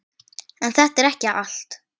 En þetta er ekki allt.